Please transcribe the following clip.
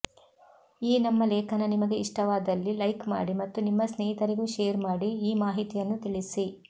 ಈ ನಮ್ಮ ಲೇಖನ ನಿಮಗೆ ಇಷ್ಟವಾದಲ್ಲಿ ಲೈಕ್ ಮಾಡಿ ಮತ್ತು ನಿಮ್ಮ ಸ್ನೇಹಿತರಿಗೂ ಶೇರ್ ಮಾಡಿ ಈ ಮಾಹಿತಿಯನ್ನು ತಿಳಿಸಿ